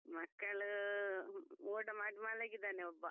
ಮಕ್ಕಳು ಊಟ ಮಾಡಿ ಮಲಗಿದ್ದಾನೆ ಒಬ್ಬ.